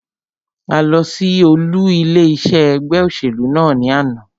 A lọ sí olú ilé iṣé ẹgbẹ́ òṣèlú náà ní àná.